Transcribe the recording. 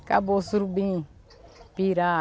Acabou o surubim, pirar.